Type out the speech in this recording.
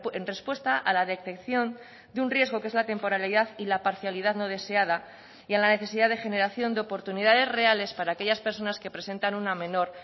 en respuesta a la detección de un riesgo que es la temporalidad y la parcialidad no deseada y a la necesidad de generación de oportunidades reales para aquellas personas que presentan una menor